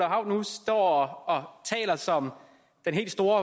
hav nu står og taler som den helt store